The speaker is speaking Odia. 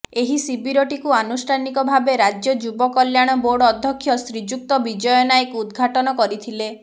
ଏହି ଶିବିରଟିକୁ ଆନୁଷ୍ଠାନିକ ଭାବେ ରାଜ୍ୟ ଯୁବ କଲ୍ୟାଣ ବୋର୍ଡ ଅଧ୍ୟକ୍ଷ ଶ୍ରୀଯୁକ୍ତ ବିଜୟ ନାୟକ ଉଦଘାଟନ କରିଥିଲେ